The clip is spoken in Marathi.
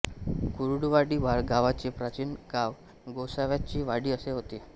कुर्डूवाडी गावाचे प्राचीन नाव गोसाव्याची वाडी असे होते